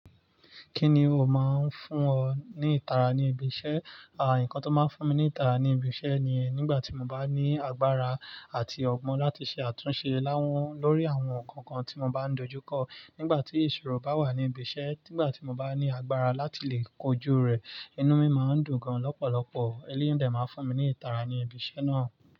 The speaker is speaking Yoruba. Kíni ó máa ń fún ọ ní ìtara ní ibi iṣẹ́? Àwọn nǹkan tó máa ń fún mi ní ìtara ní ibi iṣẹ́ ni nígbà tí mo bá ní agbára àti ọgbọ́n láti ṣe àtúnṣe láwọn lórí àwọn nǹkan kan tí mo bá ń dojú kọ. Nígbà tí ìṣòro bá wà ní ibi iṣẹ́, nígbà tí mo bá ní agbára láti lè kojú rẹ̀, inú mi máa ń dùn gan-an lọ́pọ̀lọpọ̀. Eléyi dè máa ń fún mi ní ìtara ní ibi iṣẹ́ náà.